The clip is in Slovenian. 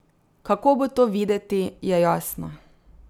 Kako bo to videti, je jasno.